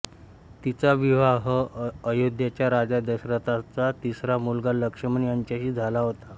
तिचा विवाह अयोध्येचा राजा दशरथाचा तिसरा मुलगा लक्ष्मण याच्याशी झाला होता